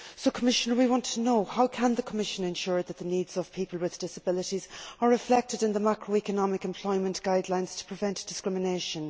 Commissioner, we would like to know how the Commission can ensure that the needs of people with disabilities are reflected in the macroeconomic employment guidelines to prevent discrimination.